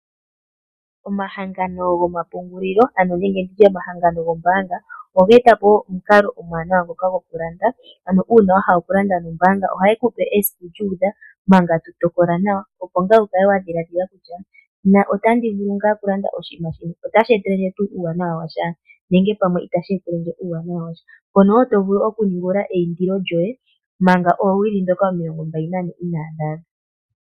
Omahangano gomapungulilo nenge ndi tye omahangano gombaanga oge eta po omukalo omuwanawa gokulanda. Uuna wa hala okulanda nombaanga ohaye ku pe esiku lyu udha manga to tokola nawa , opo wu kale wa dhililadhila kutya otandi vulu ngaa okulanda oshinima shino, otashi etele ndje tuu uuawanawa washa nenge pamwe itashi etele ndje uuwanawa wa sha. Oto vulu wo okuningulula eindilo lyoye manga oowili ndhoka omilongombali nane inaadhi adha.